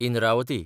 Indravati